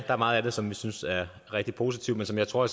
er meget af det som vi synes er rigtig positivt men som jeg tror